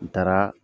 N taara